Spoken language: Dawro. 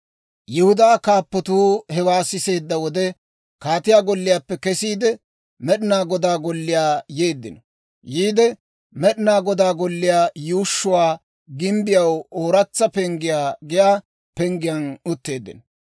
Yihudaa kaappatuu hewaa siseedda wode, kaatiyaa golliyaappe kesiide, Med'inaa Godaa Golliyaa yeeddino. Yiide Med'inaa Godaa Golliyaa yuushshuwaa gimbbiyaw Ooratsa Penggiyaa giyaa penggiyaan utteeddino.